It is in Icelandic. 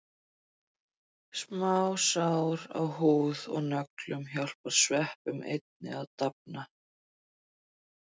Smásár á húð og nöglum hjálpa sveppunum einnig að dafna.